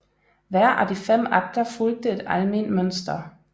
Hver af de fem akter fulgte et alment mønster